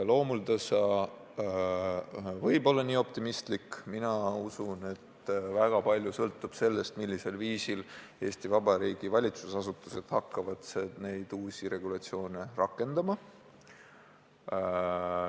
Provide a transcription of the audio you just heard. Loomuldasa võib olla nii optimistlik, aga mina usun, et väga palju sõltub sellest, millisel viisil Eesti Vabariigi valitsusasutused hakkavad uusi regulatsioone rakendama.